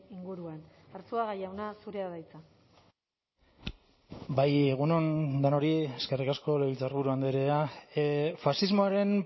inguruan arzuaga jauna zurea da hitza bai egun on denoi eskerrik asko legebiltzarburu andrea faxismoaren